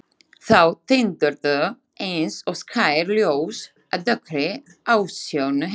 Þau tindruðu eins og skær ljós á dökkri ásjónu hennar.